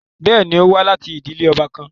Bẹẹni, o wa lati idile ọba kan